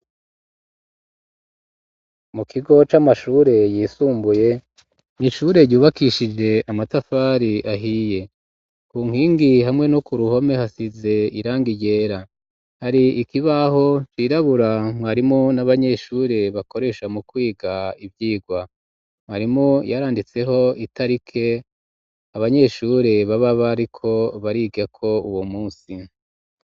Mu kigo c'amashure yisumbuye nishure ryubakishije amatafari ahiye ku nkingi hamwe no ku ruhome hasize iranga ryera hari ikibaho cirabura mwarimo n'abanyeshure bakoresha mu kwiga ivyirwa mwarimo randitseho itarike abanyeshuri bababariko barigako uwo musi.